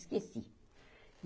Esqueci.